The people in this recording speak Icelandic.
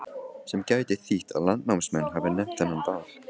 Sem gæti þýtt að landnámsmenn hafi nefnt þennan dal.